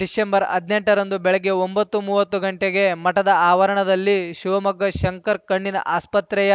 December ಹದಿನೆಂಟರಂದು ಬೆಳಗ್ಗೆ ಒಂಬತ್ತುಮೂವತ್ತು ಗಂಟೆಗೆ ಮಠದ ಆವರಣದಲ್ಲಿ ಶಿವಮೊಗ್ಗ ಶಂಕರ ಕಣ್ಣಿನ ಆಸ್ಪತ್ರೆಯ